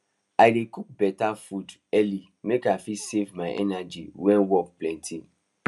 i dey cook beta food early make i fit save my energy when work plenty